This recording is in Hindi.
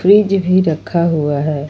मेज भी रखा हुआ है।